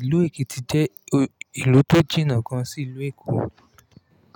Ìlú Èkìtì jẹ́ ìlú tó jìnnà gan sí ìlú Èkó.